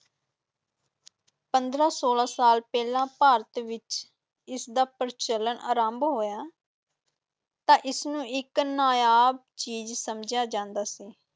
ਪੰਦਰਾਂ ਛੋਲਾਂ ਸਾਲ ਪਹਿਲਾਂ ਭਾਰਤ ਵਿੱਚ ਇਸਦਾ ਪ੍ਰਚਲਨ ਆਰੰਭ ਹੋਇਆ ਤਾਂ ਇਸਨੂੰ ਇਕ ਨਾਯਾਬ ਚੀਜ਼ ਸਮਝਿਆ ਜਾਂਦਾ ਸੀ,